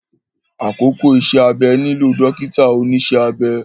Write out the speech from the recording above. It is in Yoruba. Àkókò iṣẹ́-abẹ nílò dọ́kítà oníṣẹ́ abẹ